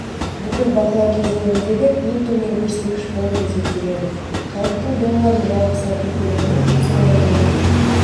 бүкіл бақылау кезеңіндегі ең төмен көрсеткіш болып есептеледі халықтың долларын жалпы сату көлемі соңғы жылдағы